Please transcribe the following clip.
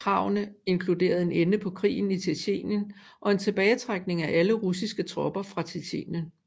Kravene inkluderede en ende på krigen i Tjetjenien og en tilbagetrækning af alle russiske tropper fra Tjetjenien